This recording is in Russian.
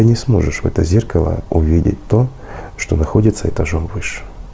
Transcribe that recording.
не сможешь в это зеркало увидеть то что находится этажом выше